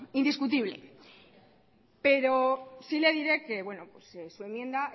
indiscutible pero sí le diré que su enmienda